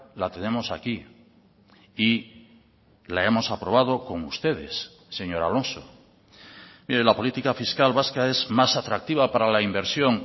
la tenemos aquí y la hemos aprobado con ustedes señor alonso mire la política fiscal vasca es más atractiva para la inversión